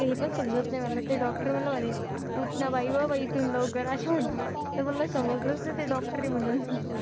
हे पण समजत नाही मला. ते डॉक्टर मला म्हणे, उठ ना बाई गं बाई तू लवकर अशे म्हंटले तर मला समजलंच नाही ते डॉक्टर आहे म्हणून.